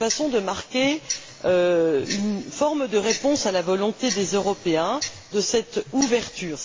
de marquer une forme de réponse à la volonté des Européens de cette ouverture.